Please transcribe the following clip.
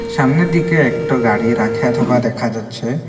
সামনের দিকে একটো গাড়ি রাখে থোকা দেখা যাচ্ছে।